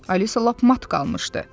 Alisa lap mat qalmışdı.